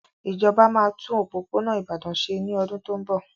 Ìjọba máa tún òpópónà Ìbàdàn ṣe ní ọdún tó ń bọ̀.